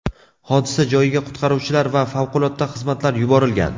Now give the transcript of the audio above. Hodisa joyiga qutqaruvchilar va favqulodda xizmatlar yuborilgan.